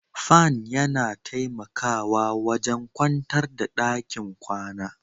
Fan yana taimakawa wajen kwantar da ɗakin kwana